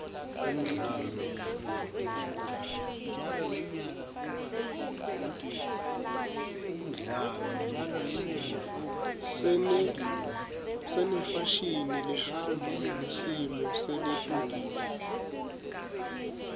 senefashini lehamba nesimo seletulu